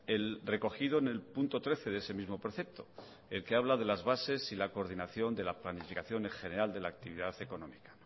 el recogido en el punto trece de ese mismo precepto el que habla de las bases y la coordinación de la planificación en general de la actividad económica